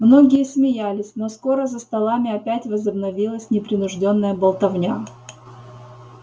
многие смеялись но скоро за столами опять возобновилась непринуждённая болтовня